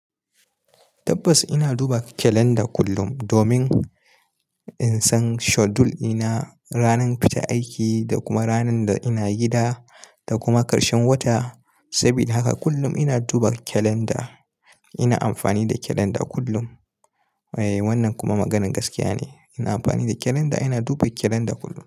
Tabbas ina duba kalanda kullum domin in san schedule ɗia ranar fita aiki da kuma ranar da ina gida da kuma karshen wata. Sabida haka kullum ina duba kalanda. Ina amfani da kalanda kullum. Eh, wannan kuma maganan gaskiya ne. Ina amfani da kalanda, ina duba kalanda kullum.